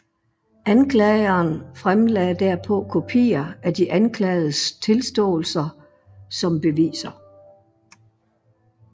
Anklageren fremlagde derpå kopier af de anklagedes tilståelser som beviser